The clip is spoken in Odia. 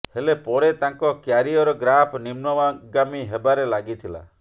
ହେଲେ ପରେ ତାଙ୍କ କ୍ୟାରିୟର ଗ୍ରାଫ ନିମ୍ନଗାମୀ ହେବାରେ ଲାଗିଥିଲା